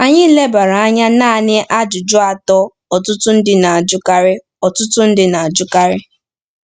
Anyị elebara anya naanị ajụjụ atọ ọtụtụ ndị na-ajụkarị. ọtụtụ ndị na-ajụkarị.